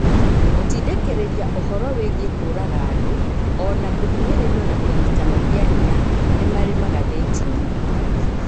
Gũtindĩkĩrĩria ũhoro wĩgiĩ kũũraga andũ o na kũhinyĩrĩrio na kũnyitana kĩa hinya ni marĩ magathetĩĩnĩ.